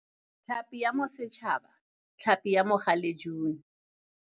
Tlhapi ya Bosetšhaba, tlhapi ya galejune.